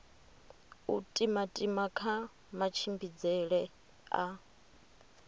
u timatima kha matshimbidzele a